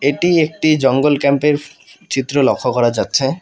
এটি একটি জঙ্গল ক্যাম্পের চিত্র লক্ষ্য করা যাচ্ছে।